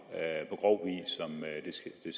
med hensyn